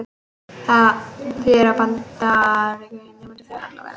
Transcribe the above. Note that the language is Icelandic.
Það þýðir að bandbreiddin í netkerfinu er sameiginleg á milli allra véla.